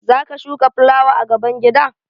Za ka shuka fulawa a gaban gida?